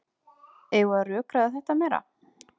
Eigum við að rökræða þetta meira?